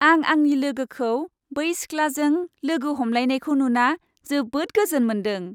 आं आंनि लोगोखौ बै सिख्लाजों लोगो हमलायनायखौ नुना जोबोद गोजोन मोन्दों।